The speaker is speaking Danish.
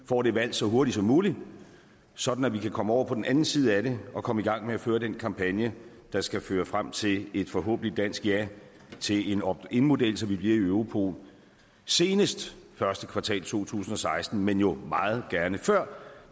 får det valg så hurtigt som muligt sådan at vi kan komme over på den anden side af det og komme i gang med at føre den kampagne der skal føre frem til et forhåbentlig dansk ja til en optinmodel så vi bliver i europol senest i første kvartal to tusind og seksten men jo meget gerne før